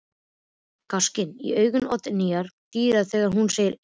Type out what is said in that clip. Gáskinn í augum Oddnýjar dýpkar þegar hún segir: Einmitt.